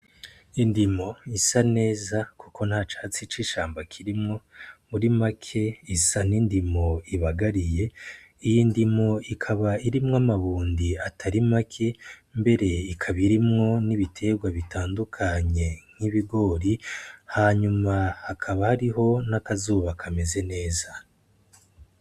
Indimo isa neza kuko nta catsi c'ishamba kirimwo muri make isa n'indimo ibagariye iyi ndimo ikaba irimwo amabundi atari make mbere ikaba irimwo n'ibiterwa bitandukanye nk'ibigori hanyuma hakaba hariho n'akazuba kameze neza.